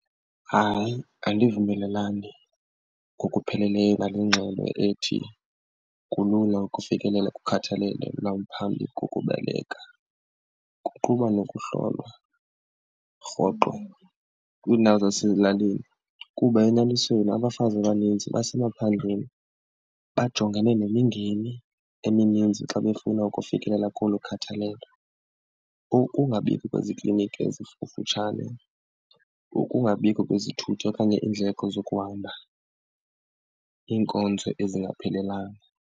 Hayi, andivumelelani ngokupheleleyo nale ngxelo ethi kulula ukufikelela kukhathalelo lwaphambi kokubeleka kuquka nokuhlolwa rhoqo kwiindawo zasezilalini, kuba enyanisweni abafazi abaninzi basemaphandleni bajongene nemingeni emininzi xa befuna ukufikelela kolo khathalalelo. Ukungabikho kwezikliniki ezikufutshane, ukungabikho kwezithuthi okanye iindleko zokuhamba iinkonzo ezingaphelelanga.